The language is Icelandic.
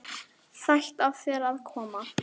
Sætt af þér að koma.